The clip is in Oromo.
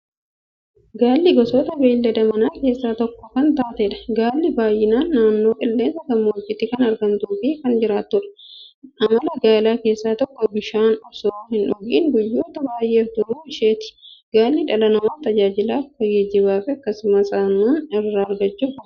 Gaalli gosa beeylada manaa keessaa tokko kan taateedha. Gaalli baay'inaan naannoo qilleensa gammoojjiitti kan argamtuufi kan jiraatudha. Amala Gaalaa keessaa tokko bishaan osoo hindhugin guyyoota baay'ef turuu isheeti. Gaalli dhala namaaf tajaajila akka geejjibaafi akkasumas Aannan irraa argachuuf oola.